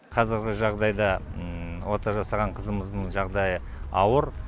қазіргі жағдайда ота жасаған қызымыздың жағдайы ауыр